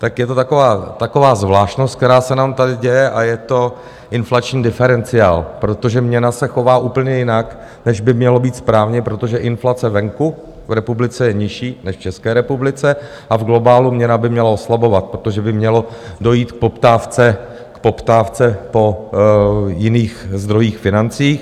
Tak je to taková zvláštnost, která se nám tady děje, a je to inflační diferenciál, protože měna se chová úplně jinak, než by mělo být správně, protože inflace venku, v republice, je nižší než v České republice a v globálu měna by měla oslabovat, protože by mělo dojít k poptávce po jiných zdrojích financí.